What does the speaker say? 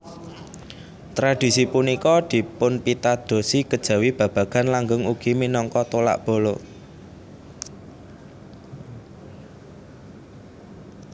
Tradisi punika dipunpitadosi kejawi babagan langgeng ugi minangka tolak bala